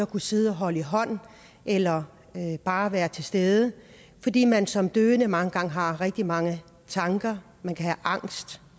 kunne sidde og holde i hånd eller bare være til stede fordi man som døende mange gange har rigtig mange tanker man kan have angst